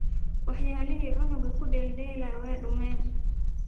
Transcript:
Waxyalixi cunuga kudeldela way dumeen.